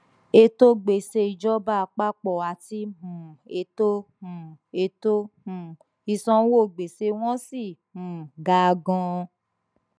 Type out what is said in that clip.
ètò gbèsè ìjọba àpapọ àti um ètò um ètò um ìsanwó gbèsè wọn ṣì um ga ganan